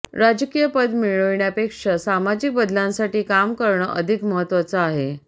राजकीय पद मिळविण्यापेक्षा सामाजिक बदलांसाठी काम करणं अधिक महत्वाचं आहे